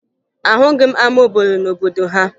Ahụghị m ama obodo n'obodo ha